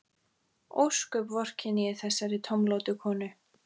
Ósköp vorkenni ég þessari tómlátu konu.